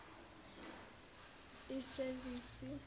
isevisi